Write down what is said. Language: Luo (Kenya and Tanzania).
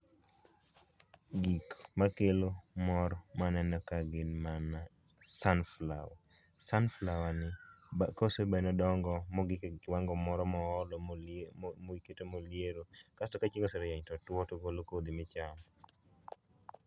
Gik makelo mor maneno ka gin mana sunflower, sunflower kose medo dongo mogik e kiwango moro moholo mikete moliero kasto kachieng oserieny to otuo to ogolo kodhi michamo